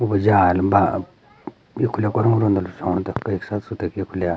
बाजार मा उखली कलो रोंद रोंण तख एक साथ सुतेकी एखुल्या।